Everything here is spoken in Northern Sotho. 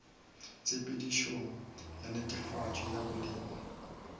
tshepedišong ya netefatšo ya boleng